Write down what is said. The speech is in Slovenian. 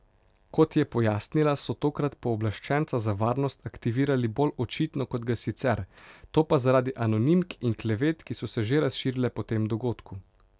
Kot je pojasnila, so tokrat pooblaščenca za varnost aktivirali bolj očitno kot ga sicer, to pa zaradi anonimk in klevet, ki so se že razširile po tem dogodku.